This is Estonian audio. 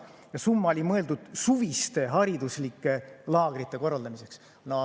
See summa oli mõeldud suviste hariduslike laagrite korraldamiseks.